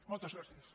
moltes gràcies